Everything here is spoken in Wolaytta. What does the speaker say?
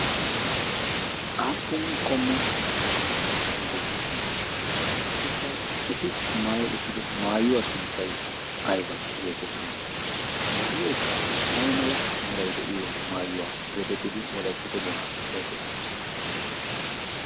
aappun qommo asati beettiyoona qassikka 'eti maai uttido maayuwaa sunttai aiba' geetettii ? maayoikka ai mala mirai de7iyo maayuwaa geetettidi ?wolettato doonan xeegettii?